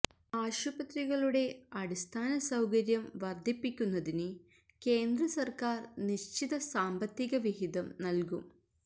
ആശുപത്രികളുടെ അടിസ്ഥാന സൌകര്യം വർധിപ്പിക്കുന്നതിനു കേന്ദ്ര സർക്കാർ നിശ്ചിത സാമ്പത്തിക വിഹിതം നൽകും